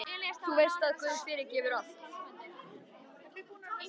Þú veist að guð fyrirgefur allt.